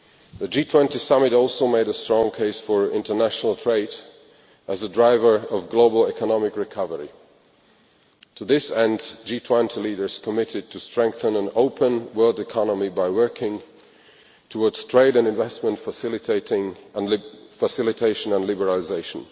The G20 summit also made a strong case for international trade as a driver of global economic recovery. To this end, G20 leaders committed to strengthening an open world economy by working towards trade and investment facilitation and liberalisation.